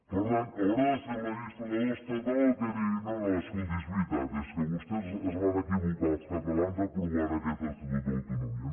per tant haurà de ser el legislador estatal el que digui no no escolti és veritat és que vostès es van equivocar els catalans aprovant aquest estatut d’autonomia